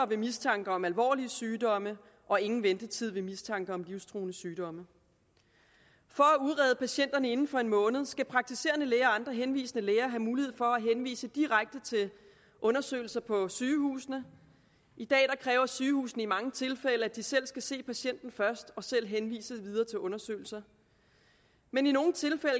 ved mistanke om alvorlige sygdomme og ingen ventetid ved mistanke om livstruende sygdomme for at udrede patienterne inden for en måned skal praktiserende læger og andre henvisende læger have mulighed for at henvise direkte til undersøgelser på sygehusene i dag kræver sygehusene i mange tilfælde at de selv skal se patienten først og selv henvise videre til undersøgelser men i nogle tilfælde